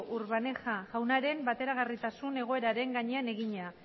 urbaneja jaunaren bateragarritasun egoeraren gainean egina